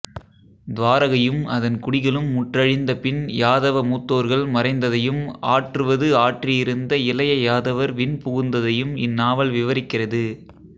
துவாரகையும் அதன் குடிகளும் முற்றழிந்தபின் யாதவ மூத்தோர்கள் மறைந்ததையும் ஆற்றுவது ஆற்றியிருந்த இளைய யாதவர் விண்புகுந்ததையும் இந்நாவல் விவரிக்கிறது